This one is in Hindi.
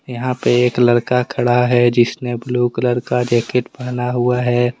यहां पे एक लड़का खड़ा है जिसने ब्लू कलर का जैकेट पहना हुआ है।